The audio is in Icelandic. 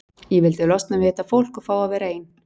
Ég vildi losna við þetta fólk og fá að vera ein.